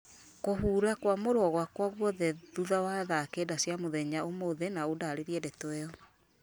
kũhura kwamũrwo gwaka gwothe thutha wa thaa kenda cia mũthenya ũmũthĩ na ũndarĩrie ndeto ĩo